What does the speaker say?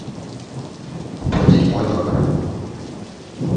оплатить мой номер